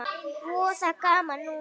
Voða gaman núna.